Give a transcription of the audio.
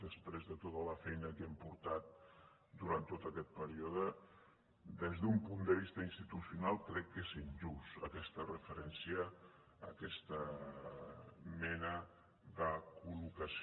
després de tota la feina que hem portat durant tot aquest període des d’un punt de vista institucional crec que és injusta aquesta referència aquesta mena de col·locació